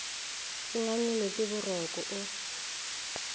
o ngangilwe ke borokgo o